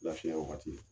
Lafiya wagati